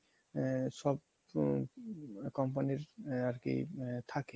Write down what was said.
আ~ সব company র আরকি মানে থাকে